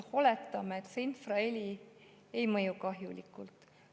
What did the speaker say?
Oletame, et infraheli ei mõju kahjulikult.